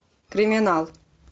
криминал